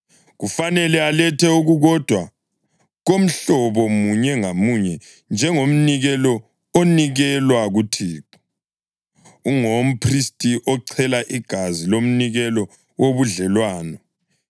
Kufanele alethe okukodwa komhlobo munye ngamunye njengomnikelo onikelwa kuThixo. Ungowomphristi ochela igazi lomnikelo wobudlelwano.